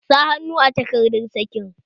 Sa hannu a takardar sakin!